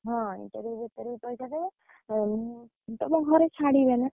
ହଁ interview ଭିତରେ ବି ପଇସା ଦେବେ, ତମ ଘରେ ଛାଡ଼ିବେ ନା।